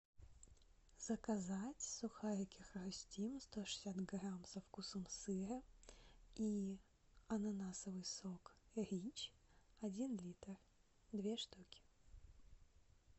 заказать сухарики хрустим сто шестьдесят грамм со вкусом сыра и ананасовый сок рич один литр две штуки